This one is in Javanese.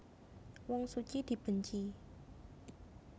Wong suci dibenci